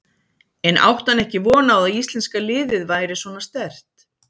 En átti hann ekki von á að íslenska liðið væri svona sterkt?